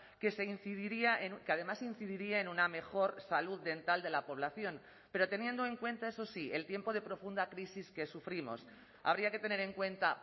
que se incidiría que además incidiría en una mejor salud dental de la población pero teniendo en cuenta eso sí el tiempo de profunda crisis que sufrimos habría que tener en cuenta